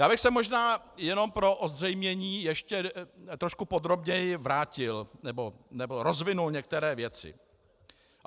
Já bych se možná jenom pro ozřejmení ještě trošku podrobněji vrátil, nebo rozvinul některé věci.